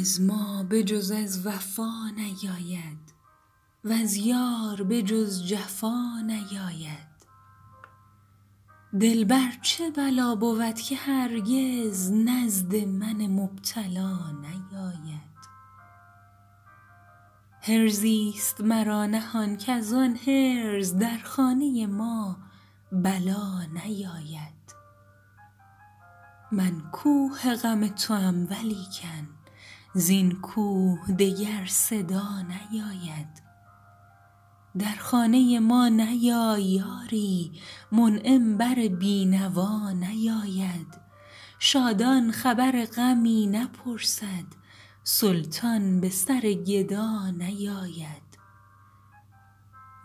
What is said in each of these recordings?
از ما به جز از وفا نیاید وز یار به جز جفا نیاید دلبر چه بلا بود که هرگز نزد من مبتلا نیاید حرزی است مرا نهان کزان حرز در خانه ما بلا نیاید من کوه غم توام ولیکن زین کوه دگر صدا نیاید در خانه ما نیایی آری منعم بر بینوا نیاید شادان خبر غمی نپرسد سلطان به سر گدا نیاید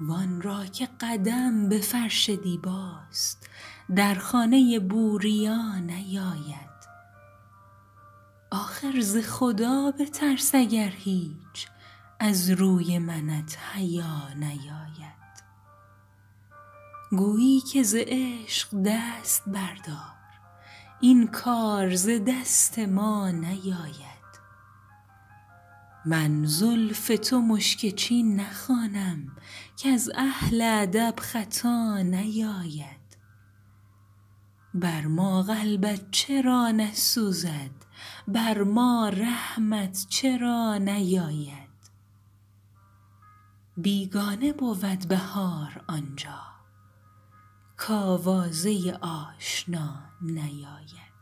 و آن را که قدم به فرش دیباست در خانه ی بوربا نیاید آخر ز خدا بترس اگر هیچ از روی منت حیا نیاید گوبی که ز عشق دست بردار این کار ز دست ما نیاید من زلف تو مشک چین نخوانم کز اهل ادب خطا نیاید بر ما قلبت چرا نسوزد بر ما رحمت چرا نیاید بیگانه بود بهار آنجا کاوازه آشنا نیاید